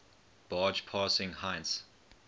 barge passing heinz